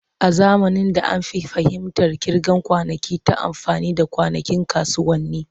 A zamanin da, an fi fahimtar kirga kwanakin ta amfani da kwanakin kasuwanni.